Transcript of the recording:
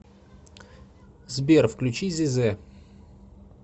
сбер включи зезе